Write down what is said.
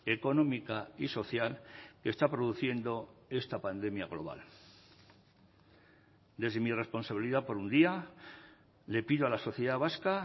económica y social que está produciendo esta pandemia global desde mi responsabilidad por un día le pido a la sociedad vasca